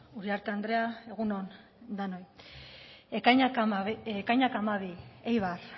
uriarte andrea egun on denoi ekainak hamabi eibar